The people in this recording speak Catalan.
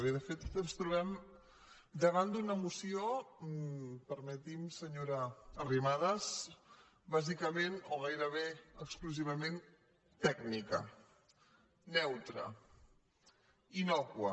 bé de fet ens trobem da·vant d’una moció permeti’m senyora arrimadas bàsicament o gairebé exclusivament tècnica neutra innòcua